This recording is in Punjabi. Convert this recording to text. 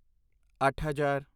ਅੱਠ ਹਜ਼ਾਰ